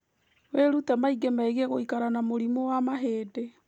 Wĩrute maingĩ megiĩ gũikara na mũrimũ wa mahĩndĩ